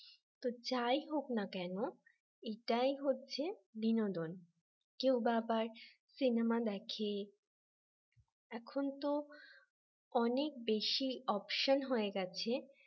যাই হোক না কেন এটাই হচ্ছে বিনোদন কেও বা আবার সিনেমা দেখে এখন তো অনেক বেশি option হয়ে গেছে